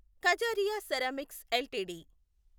Kajaria ceramics LTD